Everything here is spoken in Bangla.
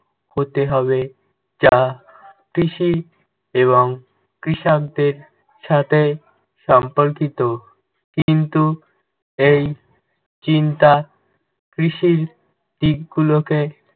হতে হবে যা কৃষি এবং কৃষকদের সাথে সম্পর্কিত। কিন্তু এই চিন্তা কৃষির দিকগুলোকে